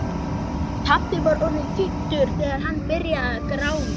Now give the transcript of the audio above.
Pabbi var orðinn fimmtugur þegar hann byrjaði að grána.